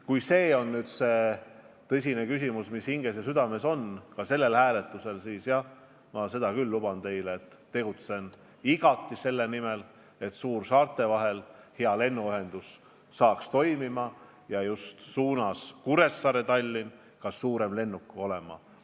Kui see on tõsine küsimus, mis teie hinges ja südames ka sellel hääletusel on, siis ma luban teile, et tegutsen igati selle nimel, et suursaarte vahel hakkaks toimima hea lennuühendus, et Kuressaare–Tallinna liinil hakkaks ka suurem lennuk olema.